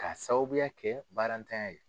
K'a sababuya kɛ baarantanya ye.